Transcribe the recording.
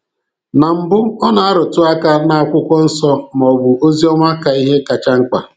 Na mbụ ọ na-arụtụ aka n'akwụkwọ nsọ maọbụ Ozi Ọma ka ihe kacha mkpa.